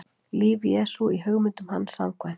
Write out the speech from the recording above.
líf jesú í hugmyndum hans samkvæmt